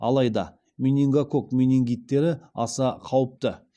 алайда менингококк менингиттері аса қауіпті